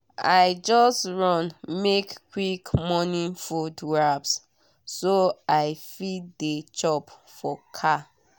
i just run make quick morning food wraps so i fit dey chop for car.